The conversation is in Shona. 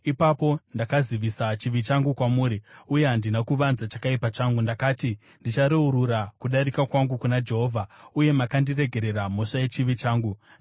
Ipapo ndakazivisa chivi changu kwamuri uye handina kuvanza chakaipa changu. Ndakati, “Ndichareurura kudarika kwangu kuna Jehovha,” uye makandiregerera mhosva yechivi changu. Sera